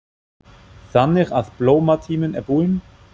Þannig að blómatíminn er búinn?